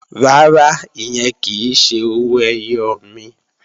Rárá, ìyẹn kì í ṣe owó ẹyọ mi